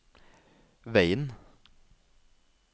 veien